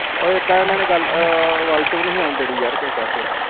ਉਹ ਐਦਾਂ ਐਨਾ ਨੇ ਗੱਲ ਵੱਲ ਚ ਨੀ ਓਣ ਦੇਣੀ ਯਾਰ ਕਿਸੇ ਪਾਸਿਉਂ